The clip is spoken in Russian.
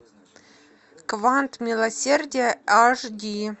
квант милосердия аш ди